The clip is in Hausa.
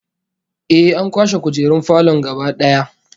Ehh, an kwashe kujerun falon gaba daya